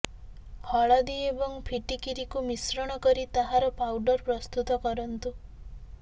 ହଳଦୀ ଏବଂ ଫିଟିକିରିକୁ ମିଶ୍ରଣ କରି ତାହାର ପାଉଡ଼ର ପ୍ରସ୍ତୁତ କରନ୍ତୁ